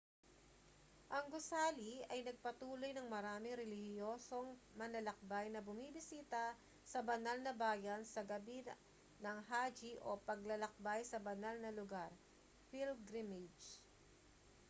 ang gusali ay nagpatuloy ng maraming relihiyosong manlalakbay na bumisita sa banal na bayan sa gabi ng hajj o paglalakbay sa banal na lugar pilgrimage